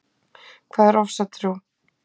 Hvað er ofsatrú?